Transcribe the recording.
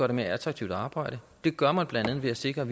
det mere attraktivt at arbejde det gør man blandt andet ved at sikre